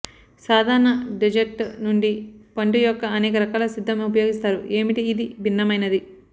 సాధారణ డెజర్ట్ నుండి పండు యొక్క అనేక రకాల సిద్ధం ఉపయోగిస్తారు ఏమిటి ఇది భిన్నమైనది